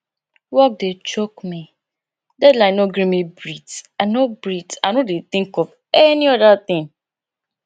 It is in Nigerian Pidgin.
work dey choke me deadline no gree me breath i no breath i no dey think of any oda thing